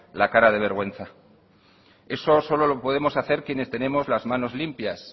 la cara de vergüenza eso solo lo podemos hacer quienes tenemos las manos limpias